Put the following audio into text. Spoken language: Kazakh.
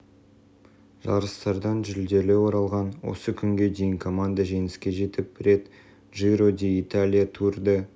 жарыстардан жүлделі оралған осы күнге дейін команда жеңіске жетіп рет джиро ди италия тур де